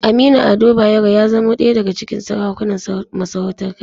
Aminu Ado Bayero ya zamo ɗaya daga cikin sarakunan masarautar Kano.